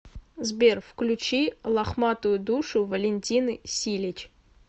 сбер включи лохматую душу валентины силич